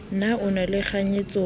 na o na le kganyetso